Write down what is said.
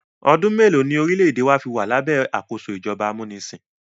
ọdún mélòó ní orílẹ̀-èdè wa fí wà lábẹ́ àkóso ìjọba amúnisìn?